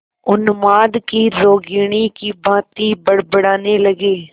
उन्माद की रोगिणी की भांति बड़बड़ाने लगी